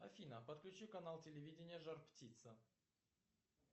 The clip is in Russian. афина подключи канал телевидения жар птица